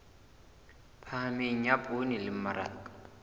phahameng ya poone le mmaraka